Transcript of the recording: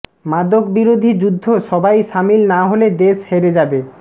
মাদকবিরোধী যুদ্ধ সবাই শামিল না হলে দেশ হেরে যাবে